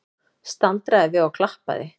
Staldraði við og klappaði!